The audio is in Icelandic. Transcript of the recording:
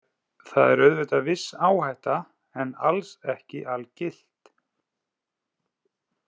Það er auðvitað viss áhætta en alls ekki algilt